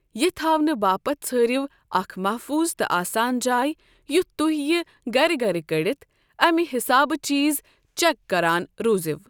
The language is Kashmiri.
یہِ تھاونہٕ باپت ژھٲرِیو اكھ محفوُظ تہٕ آسان جایۍ یُتھ توہہِ یہِ گرِ گرِ كڈِتھ امہِ حسابہٕ چیز چك كران روٗزِیو ۔